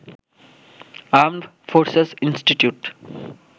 armed forces institute